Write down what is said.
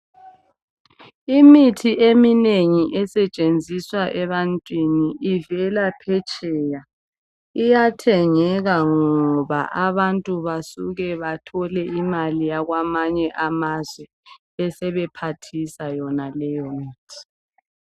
Imithi eminengi esetshenziswa ebantwini ivela phetsheya iyathengeka ngoba abantu basuke bathole imali yakwamanye amazwe besebephathisa yonaleyo mithi.